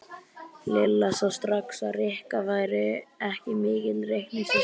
Lilla sá strax að Rikka væri ekki mikill reikningshestur.